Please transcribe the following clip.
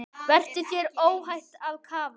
Verður þér óhætt að kafa?